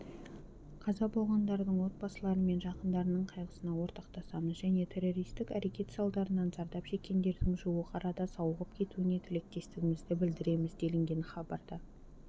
қаза болғандардың отбасылары мен жақындарының қайғысына ортақтасамыз және террористік әрекет салдарынан зардап шеккендердің жуық арада сауығып кетуіне тілектестігімізді білдіреміз делінген хабарда